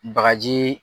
Bagaji